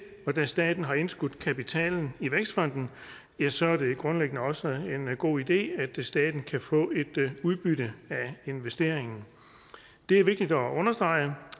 og da staten har indskudt kapitalen i vækstfonden ja så er det grundlæggende også en god idé at staten kan få et udbytte af investeringen det er vigtigt at understrege